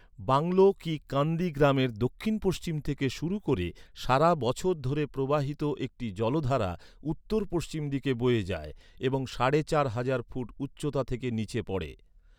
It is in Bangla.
বাংলো কি কান্দি গ্রামের দক্ষিণ পশ্চিম থেকে শুরু করে সারা বছর ধরে প্রবাহিত একটি জলধারা উত্তর পশ্চিম দিকে বয়ে যায় এবং সাড়ে চার হাজার ফুট উচ্চতা থেকে নীচে পড়ে।